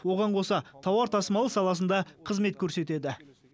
оған қоса тауар тасымалы саласында қызмет көрсетеді